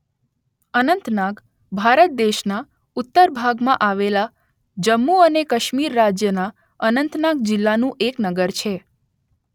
અનંતનાગ ભારત દેશના ઉત્તર ભાગમાં આવેલા જમ્મુ અને કાશ્મીર રાજ્યના અનંતનાગ જિલ્લાનું એક નગર છે